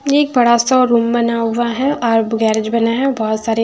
ये एक बड़ा सा रूम बना हुआ है और ब गैरेज बना है बहुत सारे--